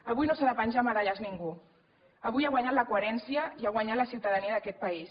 avui no s’ha de penjar medalles ningú avui ha guanyat la coherència i ha guanyat la ciutadania d’aquest país